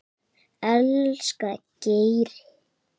Elsku Geiri.